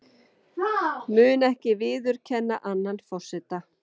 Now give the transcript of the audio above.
Mun ekki viðurkenna annan forseta